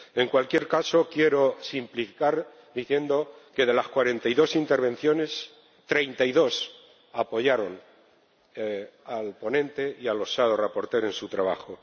En cualquier caso, quiero simplificar diciendo que, de las cuarenta y dos intervenciones, treinta y dos apoyaron al ponente y a los ponentes alternativos en su trabajo.